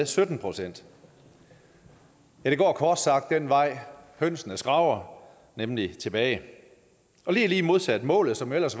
sytten procent det går kort sagt den vej hønsene skraber nemlig tilbage og det er lige modsat målet som ellers